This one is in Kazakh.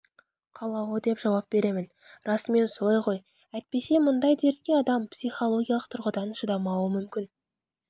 қалауы деп жауап беремін расымен солай ғой әйтпесе мұндай дертке адам психологиялық тұрғыдан шыдамауы мүмкін